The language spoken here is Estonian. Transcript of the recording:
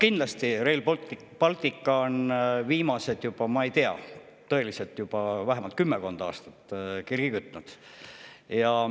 Kindlasti on Rail Baltic juba viimased, ma ei tea, vähemalt kümmekond aastat kirgi kütnud.